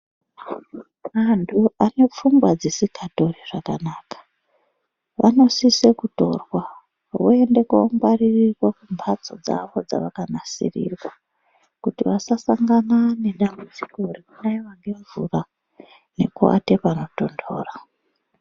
Antu anepfungwa dzisikatori zvakanaka, vanosisa kutorwa voende kuongwaririrwa kumbatso dzavo dzavakanasirirwa, kuti vasasangana nedambudziko rekunaiwa ngemvura nekuata panotondora.